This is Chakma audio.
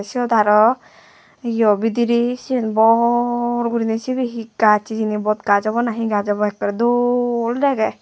ciot arow yo budirey sien bor guriney sibey hi gaj abow hijeni bodgaj obow na hi gaj obow ekkere dol dege.